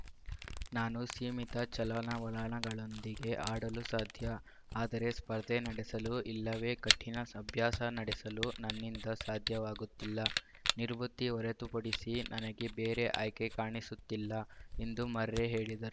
ನಾನು ಸೀಮಿತ ಚಲನವಲನಗಳೊಂದಿಗೆ ಆಡಲು ಸಾಧ್ಯ ಆದರೆ ಸ್ಪರ್ಧೆ ನಡೆಸಲು ಇಲ್ಲವೇ ಕಠಿಣ ಸಭ್ಯಾಸ ನಡೆಸಲು ನನ್ನಿಂದ ಸಾಧ್ಯವಾಗುತ್ತಿಲ್ಲ ನಿವೃತ್ತಿ ಹೊರತುಪಡಿಸಿ ನನಗೆ ಬೇರೆ ಆಯ್ಕೆ ಕಾಣಿಸುತ್ತಿಲ್ಲ ಎಂದು ಮರ್ರೆ ಹೇಳಿದರು